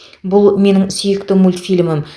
бұл менің сүйікті мультфильмім